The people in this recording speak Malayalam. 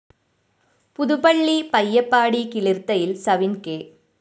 പുതുപ്പള്ളി പയ്യപ്പാടി കിളിര്‍ത്തയില്‍ സവിന്‍ കെ